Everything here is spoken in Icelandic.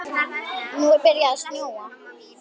Nú er byrjað að snjóa.